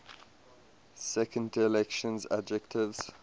second declension adjectives